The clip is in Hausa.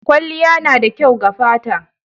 Kwalliya na da kyau ga fata.